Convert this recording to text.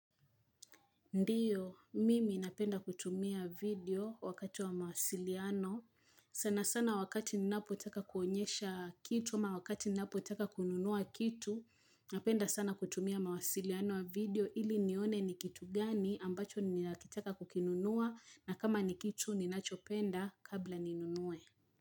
Ndio, mimi napenda kutumia video wakati wa mawasiliano. Sana sana wakati ninapotaka kuonyesha kitu, ama wakati ninapotaka kununua kitu, napenda sana kutumia mawasiliano ya video ili nione ni kitu gani ambacho ninakitaka kukinunua na kama ni kitu ninachopenda kabla ninunue.